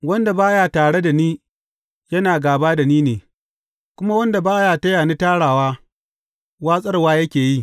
Wanda ba ya tare da ni, yana gāba da ni ne, kuma wanda ba ya taya ni tarawa, watsarwa yake yi.